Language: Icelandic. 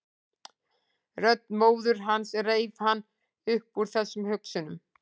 Rödd móður hans reif hann upp úr þessum hugsunum.